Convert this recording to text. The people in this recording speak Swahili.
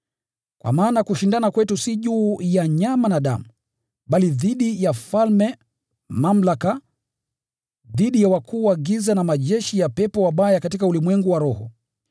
Kwa maana kushindana kwetu si juu ya nyama na damu, bali dhidi ya falme, mamlaka, dhidi ya wakuu wa giza na majeshi ya pepo wabaya katika ulimwengu wa roho.